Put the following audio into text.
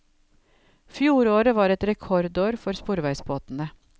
Fjoråret var et rekordår for sporveisbåtene.